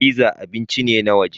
Pizza abinci ne na waje